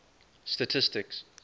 statistics